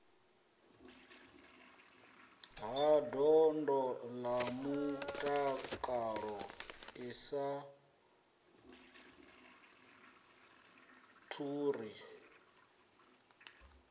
ha ndondolamutakalo i sa ḓuri